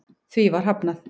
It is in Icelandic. Því var hafnað